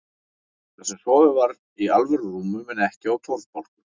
Þar sem sofið var í alvöru rúmum en ekki á torfbálkum.